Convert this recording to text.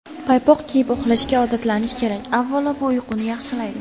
Paypoq kiyib uxlashga odatlanish kerak Avvalo, bu uyquni yaxshilaydi.